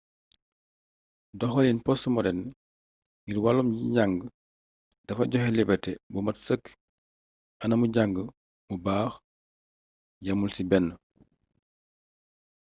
doxaliin postmoderne ngir wàllum njang dafa joxe liberté bu mat sëkk anamu jàng mu baax yamul ci benn